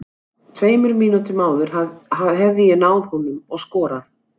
Tveimur mínútum áður hefði ég náð honum og skorað.